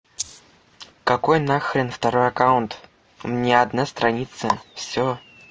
какой на хрен второй аккаунт у меня одна страница всё